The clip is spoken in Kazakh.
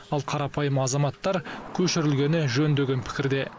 ал қарапайым азаматтар көшірілгені жөн деген пікірде